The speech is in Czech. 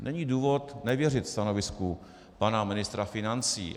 Není důvod nevěřit stanovisku pana ministra financí.